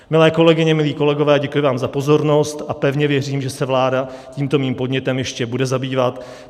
Milé kolegyně, milí kolegové, děkuji vám za pozornost a pevně věřím, že se vláda tímto mým podnětem ještě bude zabývat.